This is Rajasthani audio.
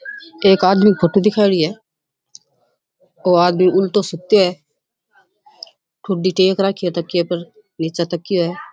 एक आदमी फोटो दिखायेडी है वो आदमी उल्टो सुते है ठुड्डी टेक राखी है तकिया पर निचे तकियो है।